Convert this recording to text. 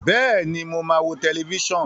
Bẹ́ẹ̀ni, mo máa wo tẹlifíṣàn.